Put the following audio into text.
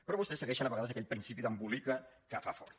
però vostès segueixen a vegades aquell principi d’embolica que fa fort